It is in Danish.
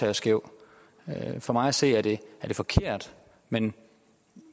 er skæv for mig at se er det forkert men